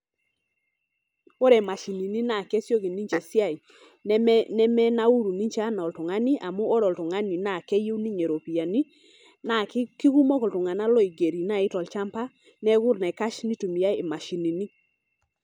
Ore mashinini naa kesioki ninche esiai , neme, nemenauru ninche anaa oltungani amu ore oltungani naa keyieu ninye ropiyiani naa kikumok iltunganak loigeri nai tolchamba , neeku enaikash nitumiay mashinini.